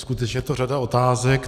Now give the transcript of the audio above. Skutečně je to řada otázek.